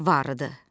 Varıdır.